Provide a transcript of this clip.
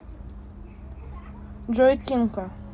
джой тинка